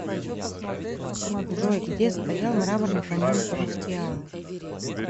джой где стоял мраморный каньон рускеала